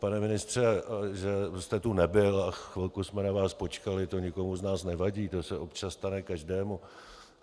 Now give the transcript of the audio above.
Pane ministře, že jste tu nebyl a chvilku jsme na vás počkali, to nikomu z nás nevadí, to se občas stane každému.